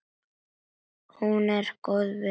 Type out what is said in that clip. Hún er góð við mig.